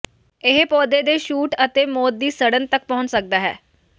ਇਹ ਪੌਦੇ ਦੇ ਸ਼ੂਟ ਅਤੇ ਮੌਤ ਦੀ ਸੜਨ ਤੱਕ ਪਹੁੰਚ ਸਕਦਾ ਹੈ